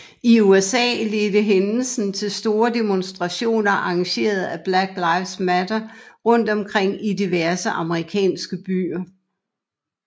I USA ledte hændelsen til store demonstrationer arrangeret af Black Lives Matter rundt omkring i diverse amerikanske byer